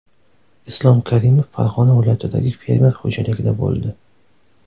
Islom Karimov Farg‘ona viloyatidagi fermer xo‘jaligida bo‘ldi.